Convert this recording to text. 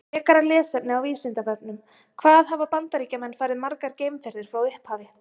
Frekara lesefni á Vísindavefnum: Hvað hafa Bandaríkjamenn farið margar geimferðir frá upphafi?